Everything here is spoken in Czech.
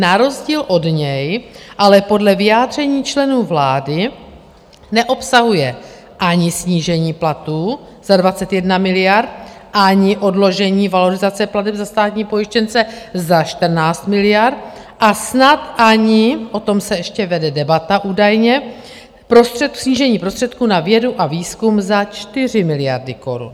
Na rozdíl od něj ale podle vyjádření členů vlády neobsahuje ani snížení platů za 21 miliard, ani odložení valorizace plateb za státní pojištěnce za 14 miliard, a snad ani - o tom se ještě vede debata údajně - snížení prostředků na vědu a výzkum za 4 miliardy korun.